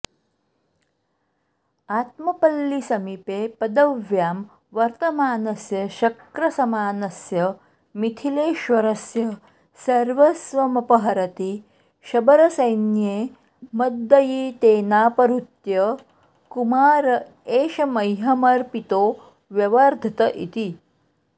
आत्मपल्लीसमीपे पदव्यां वर्तमानस्य शक्रसमानस्य मिथिलेश्वरस्य सर्वस्वमपहरति शबरसैन्ये मद्दयितेनापहृत्य कुमार एष मह्यमर्पितो व्यवर्धत इति